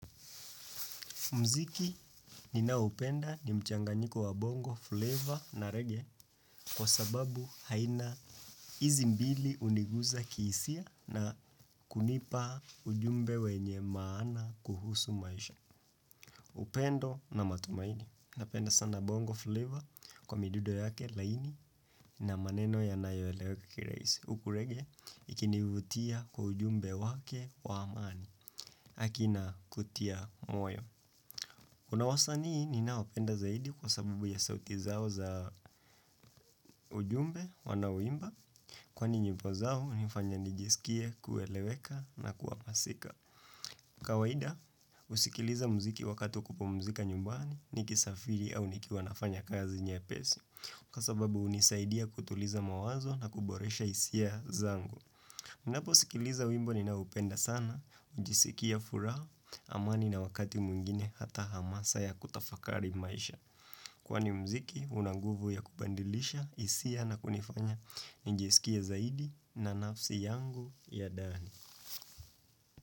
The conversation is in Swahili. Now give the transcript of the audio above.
Mziki ninaopenda ni mchanganyiko wa bongo, flavor na reggae kwa sababu haina hizi mbili uniguza kiisia na kunipa ujumbe wenye maana kuhusu maisha. Upendo na matumaini. Napenda sana bongo, flavor kwa midudo yake laini na maneno yanayo eleweka kiraisi. Uku reggae ikinivutia kwa ujumbe wake wa amani aki na kutia moyo. Kuna wasanii ninawapenda zaidi kwa sabubu ya sauti zao za ujumbe wanaoimba. Kwani nyimbo zao hunifanya nijisikia kueleweka na kuapasika. Kawaida usikiliza mziki wakati wa kupumzika nyumbani nikisafiri au nikiwa nafanya kazi nyepesi. Kwa sababu hunisaidia kutuliza mawazo na kuboresha isia zangu. Ninapo sikiliza wimbo ninaopenda sana, ujisikia furaa, amani na wakati mwingine hata hamasa ya kutafakari maisha. Kwani mziki, una nguvu ya kubandilisha, isia na kunifanya njiisikie zaidi na nafsi yangu ya daani.